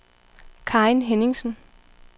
Karin Henningsen